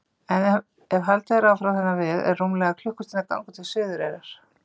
En ef haldið er áfram þennan veg er rúmlega klukkustundar gangur til Suðureyrar.